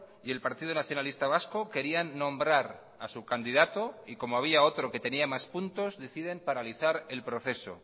y el partido nacionalista vasco querían nombrar a su candidato y como había otro que tenía más puntos deciden paralizar el proceso